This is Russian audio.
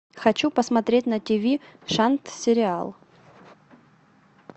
хочу посмотреть на тиви шант сериал